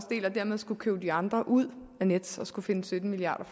dermed skulle købe de andre ud af nets og skulle finde sytten milliard